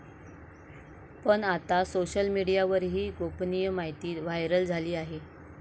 पण आता सोशल मीडियावर ही गोपनीय माहिती व्हायरल झाली आहे.